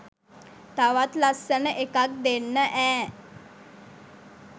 තවත් ලස්සන එකක් දෙන්න ඈ!